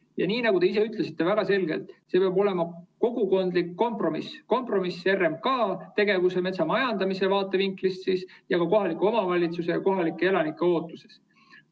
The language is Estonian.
Ja nagu te ise väga selgelt ütlesite, see peab olema kogukondlik kompromiss: kompromiss RMK tegevuse, metsamajandamise vaatevinkli ning kohaliku omavalitsuse ja kohalike elanike ootuste vahel.